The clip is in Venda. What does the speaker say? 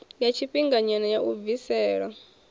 ya tshifhinganyana ya u bvisela